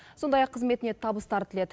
сондай ақ қызметіне табыстар тіледі